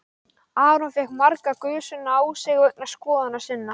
Aron fékk marga gusuna á sig vegna skoðana sinna.